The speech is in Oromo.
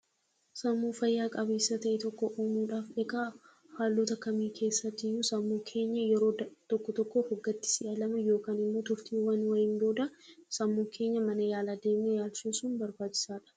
Sammuu fayyaa qabeessa ta'e tokko uumuuf haalota akkamii keessattiyyuu sammuu keenya yeroo tokko tokko of gaddisiisna yookiin ammoo turtiiwwan wayiin booda sammuu keenya mana yaalaa geessinee yaalchisuun baay'ee barbaachisaadha.